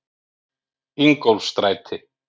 Ingólfsstræti